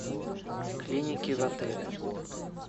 клиники в отеле